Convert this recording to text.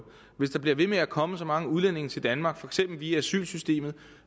hvis der bliver ved med at komme så mange udlændinge til danmark for eksempel via asylsystemet